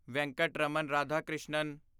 Venkataraman Radhakrishnan